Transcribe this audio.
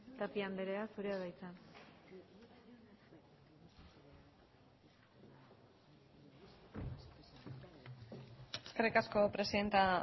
tapia anderea zurea da hitza eskerrik asko presidente